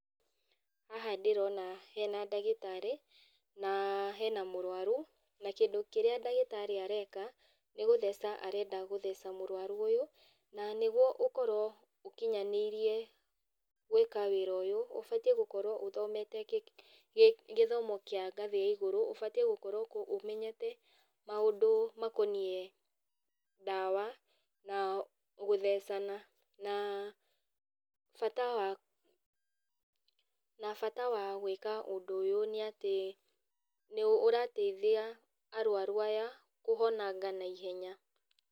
Haha ndĩrona hena ndagĩtarĩ, na hena mũrwaru, na kĩndũ kĩrĩa ndagĩtarĩ areka, nĩgũtheca arenda gũtheca mũrwaru ũyũ, na nĩguo ũkorwo ũkĩnyanĩirie gwĩka wĩra ũyũ, ũbatiĩ gũkorwo ũthomete gĩ gĩthomo kĩa ngathĩ ya igũrũ, ũbatiĩ gũkorwo ũmenyete maũndũ makoniĩ ndawa, na gũthecana, na bata wa na bata wa gwĩka ũndũ ũyũ nĩatĩ nĩũrateithia arwaru aya, kũhonanga na ihenya.